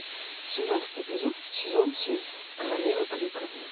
семнадцатый эпизод сезон семь королева крика